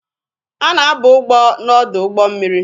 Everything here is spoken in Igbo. A na-aba ugbo n'ọdụ ụgbọ mmiri